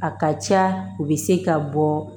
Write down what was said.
A ka ca u bɛ se ka bɔ